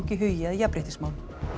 hugi að jafnréttismálum